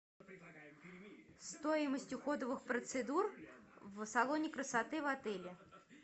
стоимость уходовых процедур в салоне красоты в отеле